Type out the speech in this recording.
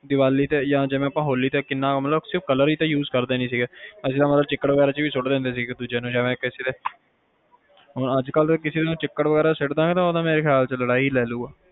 ਦੀਵਾਲੀ ਤੇ ਜਾ ਹੋਲੀ ਤੇ ਅਸੀਂ ਸਿਰਫ color ਹੀ ਤਾ uses ਕਰਦੇ ਨਹੀਂ ਸੀਗੇ ਅਸੀਂ ਤਾ ਮਤਲਬ ਚਿੱਕੜ ਵਗੈਰਾ ਚ ਵੀ ਸੁੱਟ ਦਿੰਦੇ ਸੀ ਇੱਕ ਦੂਜੇ ਨੂੰ ਹੁਣ ਜੇ ਕਿਸੇ ਨੂੰ ਚਿੱਕੜ ਚ ਸੁੱਟਤਾ ਤਾ ਉਹ ਲੜਾਈ ਲੈ ਲੂਗਾ